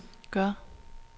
gør